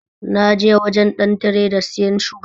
Na je wajen ɗan tireda siyan suga